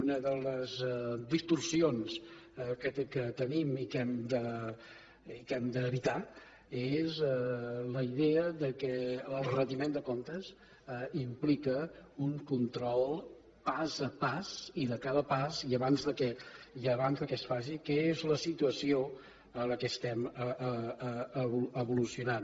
una de les distorsions que tenim i que hem d’evitar és la idea que el retiment de comptes implica un control pas a pas i de cada pas i abans que es faci que és la situació en què estem evolucionant